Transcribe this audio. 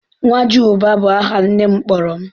"Ńwajịubá" bu aha nne m kpọrọ m